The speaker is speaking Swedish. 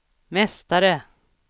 mästare